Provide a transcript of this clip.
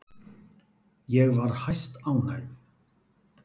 Ég var hæstánægð.